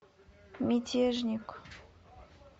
мятежник